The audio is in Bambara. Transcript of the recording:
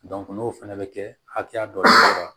n'o fana bɛ kɛ hakɛya dɔ ye